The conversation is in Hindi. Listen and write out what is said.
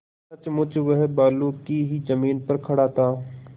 सचमुच वह बालू की ही जमीन पर खड़ा था